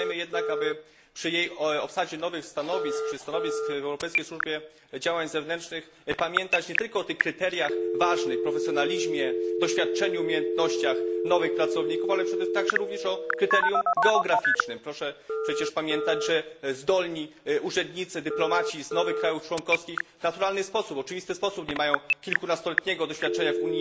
Pamiętajmy jednak, aby przy obsadzie nowych stanowisk, stanowisk w Europejskiej Służbie Działań Zewnętrznych, pamiętać nie tylko o tych kryteriach ważnych profesjonalizmie, doświadczeniu, umiejętnościach nowych pracowników, ale także również o kryterium geograficznym. Proszę przecież pamiętać, że zdolni urzędnicy, dyplomaci z nowych krajów członkowskich w naturalny sposób, w oczywisty sposób, nie mają kilkunastoletniego doświadczenia w